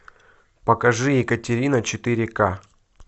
покажи екатерина четыре ка